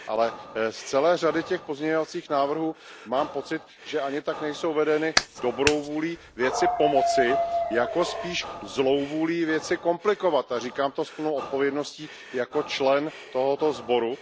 Ale z celé řady těch pozměňovacích návrhů mám pocit, že ani tak nejsou vedeny dobrou vůlí věci pomoci, jako spíš zlou vůlí věc komplikovat. Říkám to s plnou odpovědností jako člen tohoto sboru.